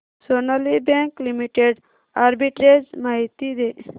Sonali bank limited arbitrage माहिती दे